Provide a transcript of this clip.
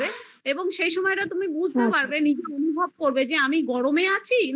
এবং সেই সময়টা তুমি বুজতে পারবে অনুভব করবে যে আমি গরমে আছি না অন্য